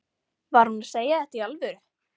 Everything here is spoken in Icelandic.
Var hún að segja þetta í alvöru?